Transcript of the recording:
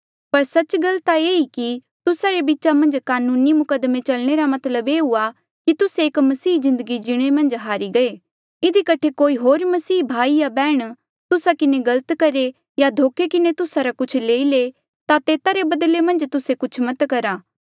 पर सच्च गल ता ऐें ई कि तुस्सा रे बीचा मन्झ कानूनी मुकद्दमे चलणे रा मतलब ये हुआ कि तुस्से एक मसीही जिन्दगी जीणे मन्झ हारी गईरे इधी कठे कोई होर मसीही भाई या बैहण तुस्सा किन्हें गलत करहे या धोखे किन्हें तुस्सा रा कुछ लेई ले ता तेता रे बदले मन्झ तुस्से कुछ मत करहा